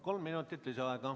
Kolm minutit lisaaega.